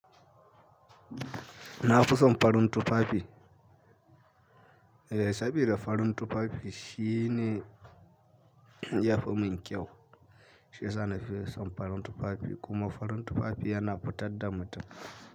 Na fi son farin tufafi. Eh saboda farin tufafi shine yafi mun kyau. Shiyasa nafi son farin tufafi. Kuma farin tufafi yana futar da mutun.